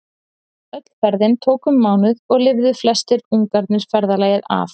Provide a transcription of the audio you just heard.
Öll ferðin tók um mánuð og lifðu flestir ungarnir ferðalagið af.